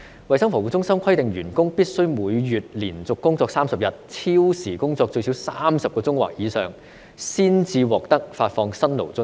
衞生防護中心規定員工必須每月連續工作30天，超時工作最少30小時或以上，才可獲得發放辛勞津貼。